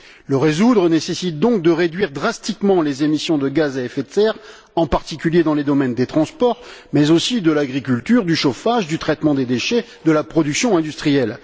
Le résoudre nécessite donc de réduire drastiquement les émissions de gaz à effet de serre, en particulier, dans les domaines des transports mais aussi de l'agriculture, du chauffage, du traitement des déchets et de la production industrielle.